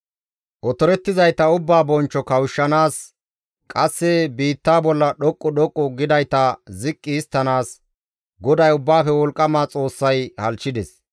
Otorettizayta ubbaa bonchcho kawushshanaas qasse biittaa bolla dhoqqu dhoqqu gidayta ziqqi histtanaas GODAY Ubbaafe Wolqqama Xoossay halchchides.